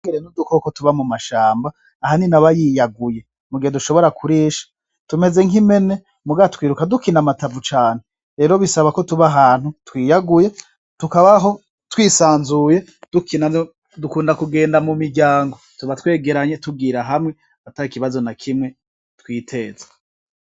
Udukoko tuba mumashamba ahanini aba yiyaguye mugihe dushobora kurisha tumeze nkimpene muga twiruka dukina amatavu cane rero bisaba ko tuba ahantu twiyaguye tukabaho twisanzuye dukina dukunda kugenda mumiryango tuba twegeranye tugira hamwe atakibazo nakimwe twiteza.